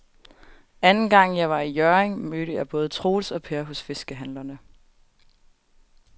Anden gang jeg var i Hjørring, mødte jeg både Troels og Per hos fiskehandlerne.